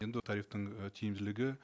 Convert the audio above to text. енді тарифтің і тиімділігі